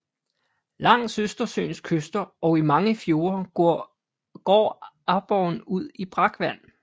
Langs Østersøens kyster og i mange fjorde går aborren ud i brakvand